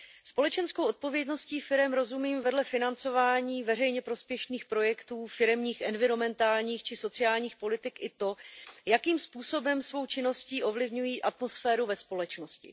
Společenskou odpovědností firem rozumím vedle financování veřejně prospěšných projektů, firemních, environmentálních či sociálních politik i to, jakým způsobem svou činností ovlivňují atmosféru ve společnosti.